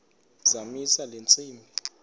zamisa le ntsimbi